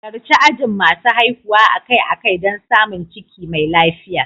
Halarci ajin masu haihuwa akai-akai don samun ciki mai lafiya.